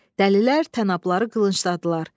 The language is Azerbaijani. Dəlilər tənəbları qılıncladılar.